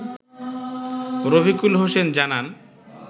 রফিকুল হোসেন জানান